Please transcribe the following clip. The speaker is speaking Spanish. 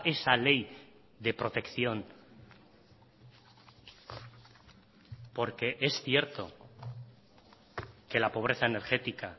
esa ley de protección porque es cierto que la pobreza energética